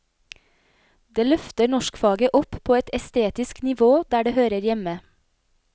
Det løfter norskfaget opp på et estetisk nivå der det hører hjemme.